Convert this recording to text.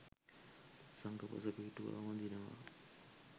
පසඟ පිහි‍ටුවා වඳිනවා